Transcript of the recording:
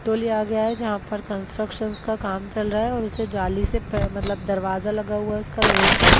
टोली आ गया है जहां पर कंस्ट्रक्शन का काम चल रहा है और उसे जाली से मतलब दरवाजा लगा हुआ है उसका लोहे का।